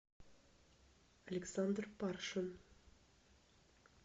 александр паршин